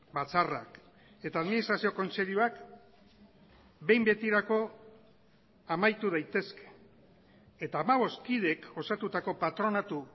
batzarrak eta administrazio kontseiluak behin betirako amaitu daitezke eta hamabost kideek osatutako patronatu